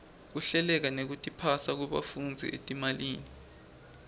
kuhleleka nekutiphasa kwebafundzi etimalini